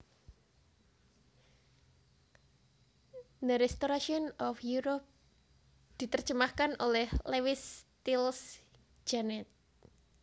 The Restoration of Europe diterjemahkan oleh Lewis Stiles Gannett